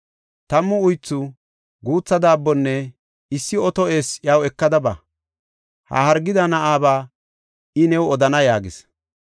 Tammu uythu, guutha daabbonne issi oto eessi iyaw ekada ba. Ha hargida na7aba I new odana” yaagis.